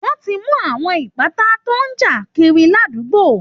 Wọ́n ti mú àwọn ìpátá tó ń ja kiri àdúgbo